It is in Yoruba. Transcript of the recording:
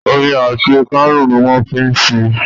Omi àti kánún ni wón fi n sèé